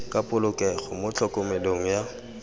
ka polokego mo tlhokomelong ya